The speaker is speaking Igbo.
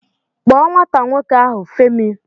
Kpọọ nwata nwoke ahụ, Femi!